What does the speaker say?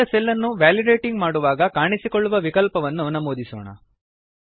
ಆಯ್ದ ಸೆಲ್ ಅನ್ನು ವ್ಯಾಲಿಡೇಟಿಂಗ್ ಮಾಡುವಾಗ ಕಾಣಿಸಿಕೊಳ್ಳುವ ವಿಕಲ್ಪವನ್ನು ನಮೂದಿಸೋಣ